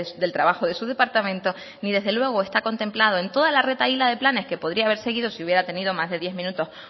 del trabajo de su departamento ni desde luego está contemplado en toda la retahíla de planes que podría haber seguido si hubiera tenido más de diez minutos